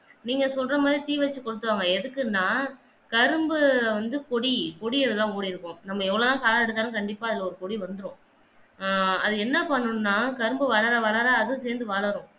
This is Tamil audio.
நீங்க சொல்ற மாதிரி தீ வைத்து கொளுத்துவாங்க எதுக்குன்னா கரும்பு வந்து கொடி கொடில தான் ஓடி இருக்கும் நம்ம எவ்வளவு தான் சாகடித்தாலும் கண்டிப்பா அதுல ஒரு கொடி வந்துடும் ஆஹ் அத என்ன பண்ணனும்னா கரும்பு வளர வளர கும் சேர்ந்து வளரும்